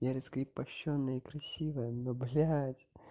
я раскрепощённая и красивая но блядь